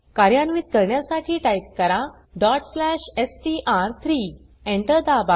कार्यान्वित करण्यासाठी टाइप करा str3 Enter दाबा